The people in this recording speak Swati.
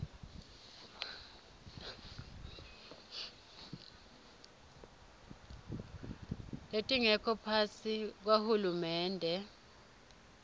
letingekho ngaphasi kwahulumende